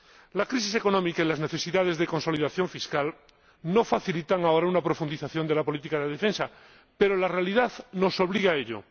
La crisis económica y las necesidades de consolidación fiscal no facilitan ahora una profundización de la política de defensa, pero la realidad nos obliga a ello.